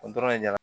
O dɔrɔn de ɲɛna